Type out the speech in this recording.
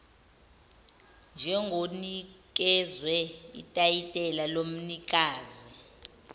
njengonikezwe itayitela lomnikazi